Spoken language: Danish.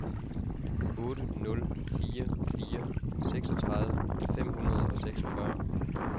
otte nul fire fire seksogtredive fem hundrede og seksogfyrre